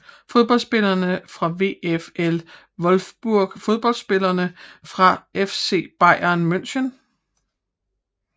Fodboldspillere fra VfL Wolfsburg Fodboldspillere fra FC Bayern München